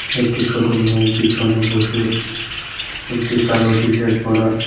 একটি ছোট মেয়ে পিছনে বসে একটি কালো টি-শার্ট পরা --